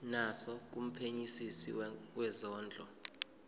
naso kumphenyisisi wezondlo